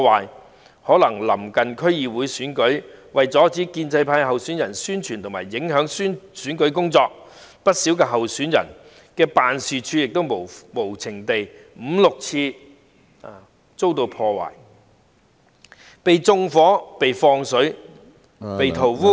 也許是臨近區議會選舉的緣故，為了阻止建制派候選人的宣傳和選舉工作，不少候選人的辦事處曾先後五六次被無情地破壞、縱火、放水、塗污......